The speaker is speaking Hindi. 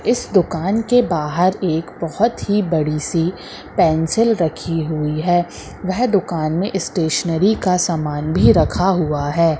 इस दुकान के बाहर एक बहोत ही बड़ी सी पेंसिल रखी हुई है वेह दुकान में स्टेशनरी का सामान भी रखा हुआ है।